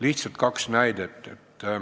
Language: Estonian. Lihtsalt kaks näidet.